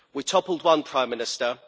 We toppled one prime minister